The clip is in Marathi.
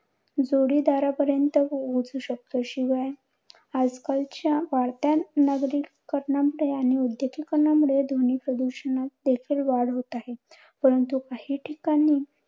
जोडीदारा पर्यंत पोहचू शकतो. शिवाय आजकालच्या वाढत्या नागरिकीकरणामुळे व उद्योगीकरणामुळे ध्वनी प्रदूषणात देखील वाढ होत आहे. परंतु काही ठिकाणी